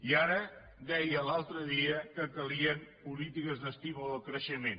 i ara deia l’altre dia que calien polítiques d’estímul al creixement